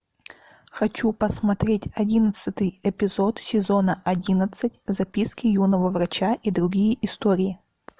хочу посмотреть одиннадцатый эпизод сезона одиннадцать записки юного врача и другие истории